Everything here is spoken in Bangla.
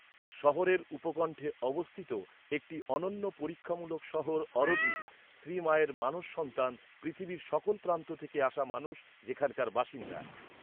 শহরের উপকণ্ঠে অবস্থিত একটি অনন্য পরীক্ষামূলক শহর অরোভিল, শ্রীমায়ের মানস সন্তান, পৃথিবীর সকল প্রান্ত থেকে আসা মানুষ যেখানকার বাসিন্দা।